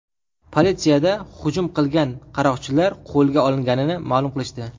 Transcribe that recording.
Politsiyada hujum qilgan qaroqchilar qo‘lga olinganini ma’lum qilishdi.